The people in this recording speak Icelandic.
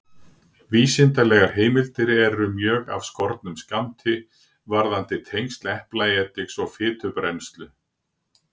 Vísindalegar heimildir eru mjög af skornum skammti varðandi tengsl eplaediks og fitubrennslu.